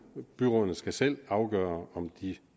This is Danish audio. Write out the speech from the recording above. og byrådene skal selv afgøre om de